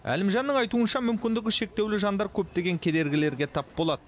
әлімжанның айтуынша мүмкіндігі шектеулі жандар көптеген кедергілерге тап болады